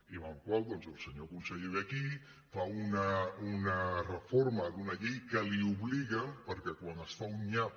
i per la qual cosa doncs el senyor conseller ve aquí fa una reforma d’una llei que l’obliguen perquè quan es fa un nyap